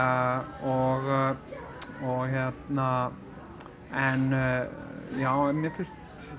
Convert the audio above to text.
og hérna en já en mér finnst